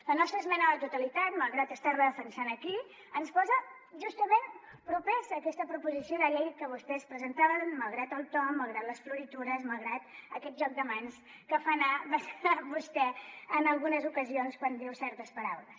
la nostra esmena a la totalitat malgrat estar la defensant aquí ens posa justament propers a aquesta proposició de llei que vostès presentaven malgrat el to malgrat les floritures malgrat aquest joc de mans que fa anar vostè en algunes ocasions quan diu certes paraules